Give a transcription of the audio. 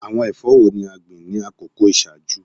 Awọn ẹfọ wo ni a gbin ni akoko iṣaaju?